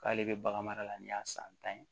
K'ale bɛ bagan mara la ni y'a san tan ye